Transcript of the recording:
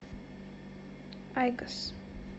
айкос